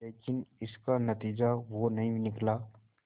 लेकिन इसका नतीजा वो नहीं निकला